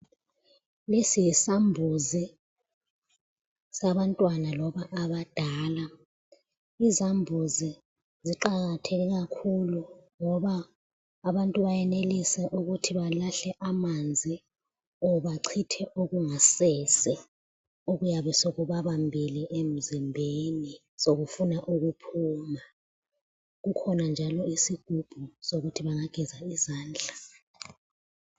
Lesi yisambuzi sabantwana loba abadala. Izambuzi ziqakatheke kakhulu ngoba abantu bayenelisa ukuthi belahle amanzi or bachithe okungasese okuyane sekubabambile emzimbeni sokufuna ukuphuma. Kukhona njalo isigubhu sokuthi bengageza izandla.